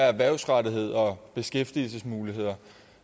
erhvervsrettethed og beskæftigelsesmuligheder